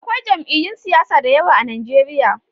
Akwai jam'iyun siyasa da yawa a Nijeriya